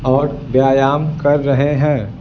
और व्यायाम कर रहे हैं।